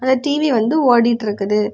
இந்த டிவி வந்து ஓடிட்டு இருக்குது.